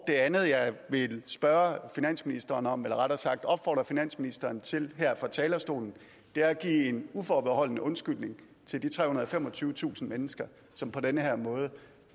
det andet jeg vil spørge finansministeren om eller rettere sagt opfordre finansministeren til her fra talerstolen at give en uforbeholden undskyldning til de trehundrede og femogtyvetusind mennesker som på den her måde